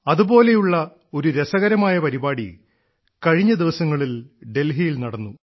അതുപോലെയുള്ള ഒരു രസകരമായ പരിപാടി കഴിഞ്ഞ ദിവസങ്ങളിൽ ഡൽഹിയിൽ നടന്നു